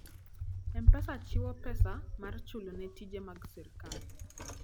M-Pesa chiwo pesa mar chulo ne tije mag sirkal.